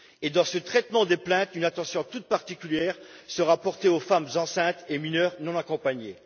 Et dans ce traitement des plaintes, une attention toute particulière sera portée aux femmes enceintes et aux mineurs non accompagnés.